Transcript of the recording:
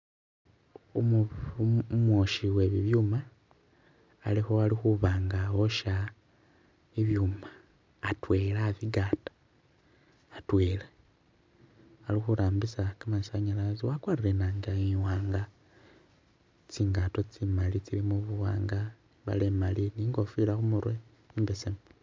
Umwoshi we bibyuuma ali khubanga wosha bibyuuma atwela abigata hatwela ali khurambisa gamasanyalaze wagwarile inanga iwanga tsingato tsimaali tsilimo buwanga imbale imali ni khofila khumurwe imbesemu.